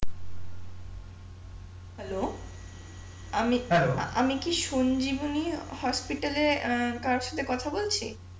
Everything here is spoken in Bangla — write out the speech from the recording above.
হ্যালো, আমি আমি কি সঞ্জীবনী হসপিটালে অ্যাঁ কারোর সাথে কথা বলছি?